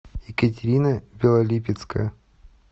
екатерина белолипецкая